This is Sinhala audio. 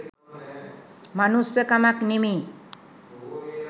මනුස්සකමක් නෙමේ.